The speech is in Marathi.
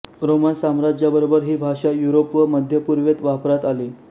रोमन साम्राज्याबरोबर ही भाषा युरोप व मध्यपूर्वेत वापरात आली